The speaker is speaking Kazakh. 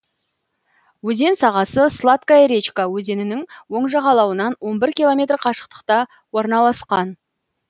өзен сағасы сладкая речка өзенінің оң жағалауынан он бір километр қашықтықта орналасқан